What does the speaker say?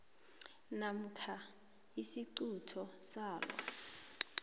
namkha isiquntu salo